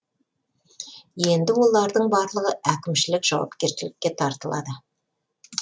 енді олардың барлығы әкімшілік жауапкершілікке тартылады